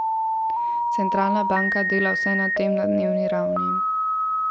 Centralna banka dela vse na tem na dnevni ravni.